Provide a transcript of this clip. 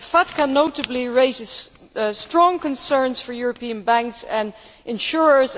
FATCA, notably, raise strong concerns for European banks and insurers.